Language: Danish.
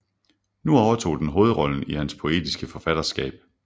Nu overtog den hovedrollen i hans poetiske forfatterskab